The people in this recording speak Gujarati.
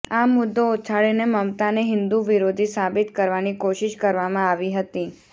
આ મુદ્દો ઉછાળીને મમતાને હિંદૂ વિરોધી સાબિત કરવાની કોશિશ કરવામાં આવી હતી